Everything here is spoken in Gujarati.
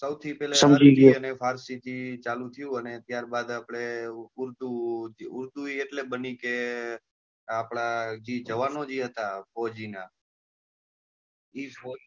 સૌથી પેલા પારસી થી ચાલુ થયું ને ત્યાર બાદ ઉર્દુ અને ઉર્દુ એ એટલે બની કે આપના જે જવાનો જે જતા ફોજી નાં એ ફોજી.